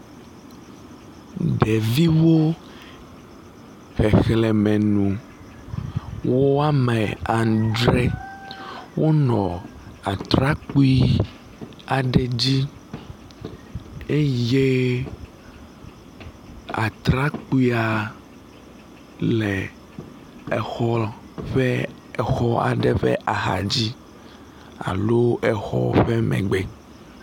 Ɖeviwo, xexlẽme nu woame adre wonɔ atrakpui aɖe dzi eye atrakpuia le xɔ ƒe exɔ aɖe ƒe axadzi alo exɔa ƒe megbe.